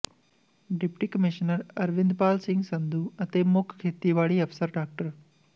deputy commissioner Arvindpal Singh Sandhu ਅਤੇ ਮੁੱਖ ਖੇਤੀਬਾੜੀ ਅਫਸਰ ਡਾ